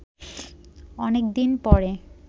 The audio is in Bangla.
অনেকদিন পরে